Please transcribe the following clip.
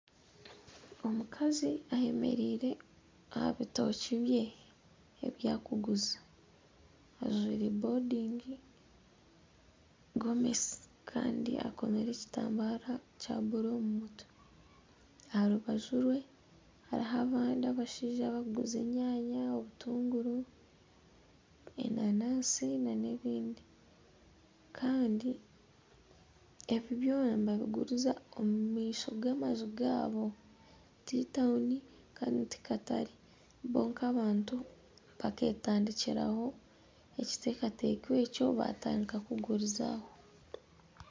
Omukazi eyemereire aha bitookye bye ebi arikuguza, ajwire bodingi gomesi kandi akomire ekitambara kya buru omu mutwe aha rubaju rwe hariho abandi abashaija abarikuguza enyanya obutunguru enanaasi nana ebindi kandi ebi byona nibabiguriza omu maisho g'amaju gaabo ti tawuni kandi ti katare bo nk'abantu bakeetandikiraho ekiteekateekyo ekyo batandika kuguriza aho